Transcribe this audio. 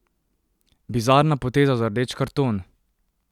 Bizarna poteza za rdeč karton!